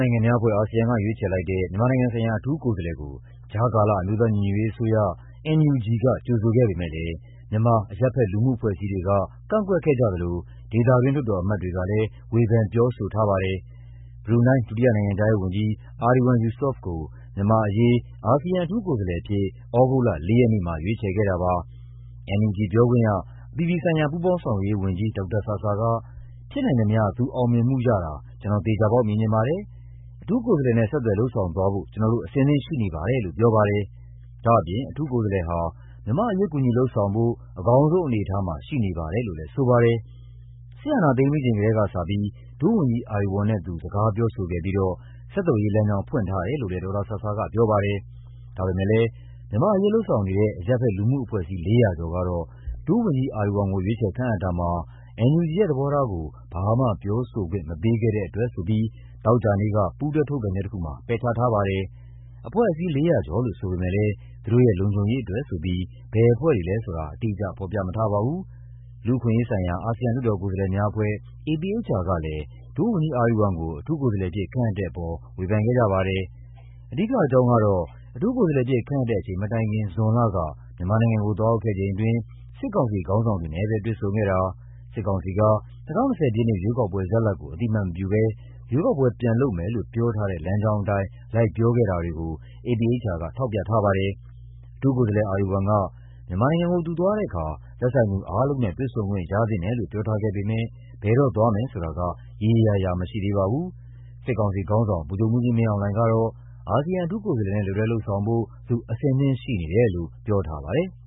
နိုင်ငံများအဖွဲ့ (ASEAN) က ရွေးချယ်လိုက်တဲ့ မြန်မာနိုင်ငံဆိုင်ရာ အထူးကိုယ်စားလှယ်ကို ကြားကာလ အမျိုးသားညီညွတ်ရေးအစိုးရ (NUG) က ကြိုဆိုခဲ့ပေမယ့်လည်း မြန်မာ အရပ်ဘက် လူမှုအဖွဲ့အစည်းတွေက ကန့်ကွက်ခဲ့ကြသလို ဒေသတွင်း လွှတ်တော်အမတ်တွေကလည်း ဝေဖန်ပြောဆိုခဲ့ကြပါတယ်။ ဘရူနိုင်း ဒုတိယနိုင်ငံခြားရေးဝန်ကြီး Erywan Yusof ကို မြန်မာ့အရေး အာဆီယံအထူးကိုယ်စားလှယ်အဖြစ် သြဂုတ်လ ၄ ရက်နေ့မှာ ရွေးချယ်ခဲ့တာပါ။ NUG ပြောခွင့်ရ၊ အပြည်ပြည်ဆိုင်ရာ ပူးပေါင်းဆောင်ရွက်ရေးဝန်ကြီး ဒေါက်တာဆာဆာက "ဖြစ်နိုင်သမျှ သူအောင်မြင်မှာရတာ ကျနော် သေချာပေါက်မြင်ချင်ပါတယ်၊ အထူးကိုယ်စားလှယ်နဲ့ ဆက်သွယ် လုပ်ဆောင်သွားဖို့ ကျနော်တို့ အဆင်သင့်ရှိနေပါတယ်" လို့ ပြောပါတယ်။ ဒါ့အပြင် အထူးကိုယ်စားလှယ်ဟာ မြန်မာ့အရေး ကူညီလုပ်ဆောင်ဖို့ အကောင်းဆုံးအနေအထားမှာ ရှိနေပါတယ်လို့လည်း ဆိုပါတယ်။ စစ်အာဏာသိမ်းပြီးချိန်ကတည်းကစပြီး ဒုဝန်ကြီး Erywan နဲ့ သူ စကားပြောဆိုခဲ့ပြီးတော့ ဆက်သွယ်ရေး လမ်းကြောင်း ဖွင့်ထားတယ်လို့လည်း ဒေါက်တာဆာဆာက ပြောပါတယ်။ ဒါပေမယ့်လည်း မြန်မာ့အရေးလုပ်ဆောင်နေတဲ့ အရပ်ဘက် လူမှုအဖွဲ့အစည်း ၄၀၀ ကျော်ကတော့ ဒုဝန်ကြီး Erywan ကို ရွေးချယ်ခန့်အပ်တာမှာ NUG ရဲ့သဘောထားကို ဘာမှပြောဆိုခွင့် မပေးခဲ့တဲ့အတွက်ဆိုပြီး သောကြာနေ့က ပူးတွဲထုတ်ပြန်ချက်တခုမှာ ပယ်ချထားပါတယ်။ အဖွဲ့အစည်း ၄၀၀ ကျော်လို့ ဆိုပေမယ့်လည်း သူတို့ရဲ့လုံခြုံရေးအတွက်ဆိုပြီး ဘယ်အဖွဲ့တွေလဲဆိုတာ အတိအကျ ဖော်ပြမထားပါဘူး။ လူ့အခွင့်အရေးဆိုင်ရာ အာဆီယံ လွှတ်တော်ကိုယ်စားလှယ်များအဖွဲ့ (APHR) ကလည်း ဒုဝန်ကြီး Erywan ကို အထူးကိုယ်စားလှယ်အဖြစ် ခန့်အပ်တဲ့အပေါ် ဝေဖန်ခဲ့ကြပါတယ်။ အဓိကအကြောင်းကတော့ အထူးကိုယ်စားလှယ်အဖြစ် ခန့်အပ်တဲ့အချိန်မတိုင်ခင် ဇွန်လက မြန်မာနိုင်ငံကို သွားရောက်ခဲ့ချိန်အတွင်း စစ်ကောင်စီခေါင်းဆောင်တွေနဲ့ပဲ တွေ့ဆုံခဲ့တာ၊ စစ်ကောင်စီက ၂၀၂၀ ပြည့်နှစ် ရွေးကောက်ပွဲရလဒ်ကို အသိအမှတ်မပြုဘဲ ရွေးကောက်ပွဲပြန်လုပ်မယ်လို့ ပြောထားတဲ့လမ်းကြောင်းအတိုင်း လိုက်ပြောခဲ့တာတွေကို APHR က ထောက်ပြထားပါတယ်။ အထူးကိုယ်စားလှယ် Erywan က မြန်မာနိုင်ငံကို သူသွားတဲ့အခါ သက်ဆိုင်သူအားလုံးနဲ့ တွေ့ဆုံခွင့်ရသင့်တယ်လို့ ပြောထားခဲ့ပေမယ့် ဘယ်တော့သွားမယ်ဆိုတာက ရေရေရာရာမရှိသေးပါဘူး။ စစ်ကောင်စီထေခါင်းဆောင် ဗိုလ်ချုပ်မှူးကြီးမင်းအောင်လှိုင်ကတော့ အာဆီယံ အထူးကိုယ်စားလှယ်နဲ့ လက်တွဲလုပ်ဆောင်ဖို့ သူ အဆင်သင့်ရှိနေတယ်လို့ ပြောထားပါတယ်။